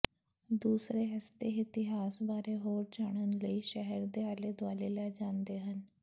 ਦੂਸਰੇ ਇਸਦੇ ਇਤਿਹਾਸ ਬਾਰੇ ਹੋਰ ਜਾਣਨ ਲਈ ਸ਼ਹਿਰ ਦੇ ਆਲੇ ਦੁਆਲੇ ਲੈ ਜਾਂਦੇ ਹਨ